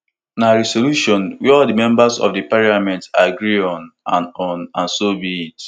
na resolution wey all members of di parliament agree on and on and so be it